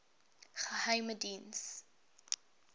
geheimediens